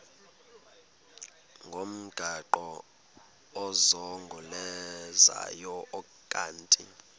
ngomgaqo ozungulezayo ukanti